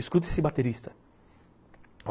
Escuta esse baterista.